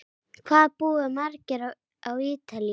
Hvað búa margir á Ítalíu?